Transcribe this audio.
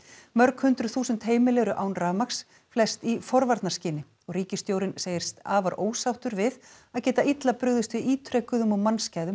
mörg hundruð þúsund heimili eru án rafmagns flest í forvarnarskyni og ríkisstjórinn segist afar ósáttur við að geta illa brugðist við ítrekuðum og mannskæðum